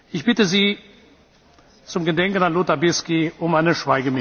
Ich bitte Sie zum Gedenken an Lothar Bisky um eine